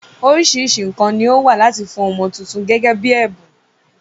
Oríṣiríṣi nǹkan ni ó wà láti fún ọmọ tuntun gẹ́gẹ́ bí ẹ̀bùn.